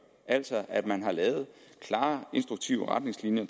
altså at man har lavet klare instruktive retningslinjer